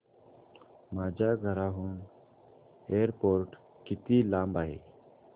माझ्या घराहून एअरपोर्ट किती लांब आहे